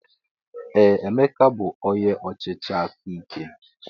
Ee! Emeka bụ onye ọchịchị aka ike.